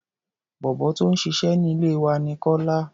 Bọ̀bọ́ tó ń ṣiṣẹ́ ní ilé wa ní Kọ́lá.